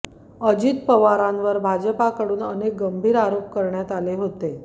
अजित पवारांवर भाजपाकडून अनेक गंभीर आरोप करण्यात आले होते